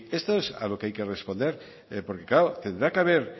esto es a lo que hay responder porque claro tendrá que haber